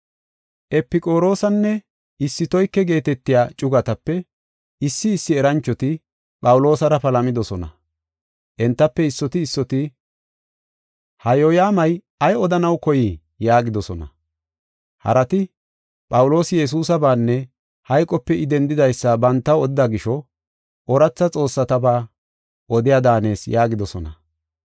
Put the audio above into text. Epiqoroosenne Istoyke geetetiya cugatape issi issi eranchoti Phawuloosara palamidosona. Entafe issoti issoti, “Ha yooyamay ay odanaw koyii?” yaagidosona. Harati Phawuloosi Yesuusabaanne hayqope I dendidaysa bantaw odida gisho, “Ooratha xoossataba odiya daanees” yaagidosona.